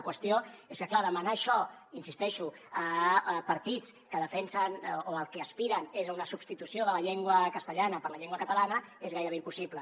la qüestió és que clar demanar això hi insisteixo a partits que defensen o que al que aspiren és a una substitució de la llengua castellana per la llengua catalana és gairebé impossible